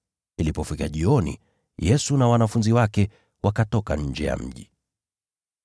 Ilipofika jioni, Yesu na wanafunzi wake wakatoka nje ya mji.